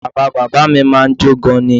Bàbá bàbá mi mọ̀ ọ́n jó gan-an ni